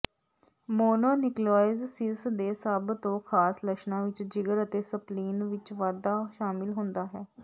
ਮੋਨੋਨਿਊਕਿਓਲੋਜਿਸਿਸ ਦੇ ਸਭ ਤੋਂ ਖਾਸ ਲੱਛਣਾਂ ਵਿੱਚ ਜਿਗਰ ਅਤੇ ਸਪਲੀਨ ਵਿੱਚ ਵਾਧਾ ਸ਼ਾਮਿਲ ਹੁੰਦਾ ਹੈ